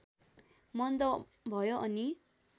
मन्द भयो अनि